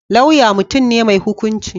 Lauya mutum ne mai hukunci.